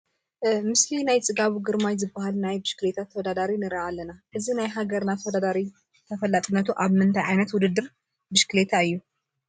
ምስሊ ናይ ፅጋቡ ግርማይ ዝበሃል ናይ ብሽክሌታ ተወዳዳሪ ንርኢ ኣለና፡፡ እዚ ናይ ሃገርና ተወዳዳሪ ተፈላጥነቱ ኣብ ምንታይ ዓይነት ውድድር ብሽክሌታ እዩ?